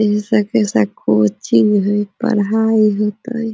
इ जैसा कोई कोचिंग है पढाई होता है ।